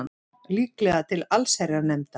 Líklega til allsherjarnefndar